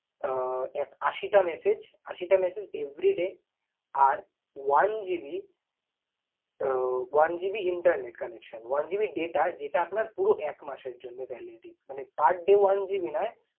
আহ এক~ আশি টা message, আশি টা message everyday আর one GB ah one GB internet connection one GB data যেটা আপনার পুরো একমাসের জন্য validity । মানে per day oneGB নয়